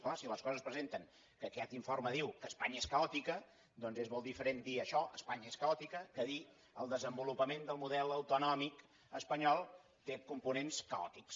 clar si les coses es presenten que aquest informe diu que espanya és caòtica doncs és molt diferent dir això espanya és caòtica que dir el desenvolupament del model autonòmic espanyol té components caòtics